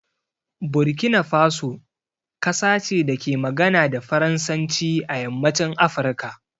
Burkina Faso kasa ce da ke magana da Faransanci a yammacin Afirka.